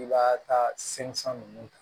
I b'a taa sen san ninnu kan